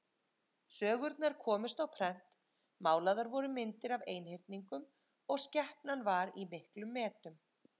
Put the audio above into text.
Sögurnar komust á prent, málaðar voru myndir af einhyrningum og skepnan var í miklum metum.